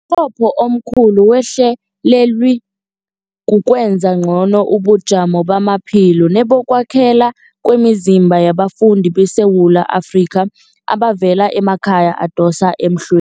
qopho omkhulu wehlelweli kukwenza ngcono ubujamo bamaphilo nebokwakhela kwemizimba yabafundi beSewula Afrika abavela emakhaya adosa emhl